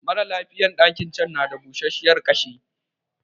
Maralafiyan ɗakin can na da busashiyar ƙashi